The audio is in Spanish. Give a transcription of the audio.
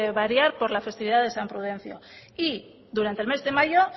variar por la festividad de san prudencio y durante el mes de mayor